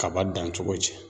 Kaba dancogo cɛ.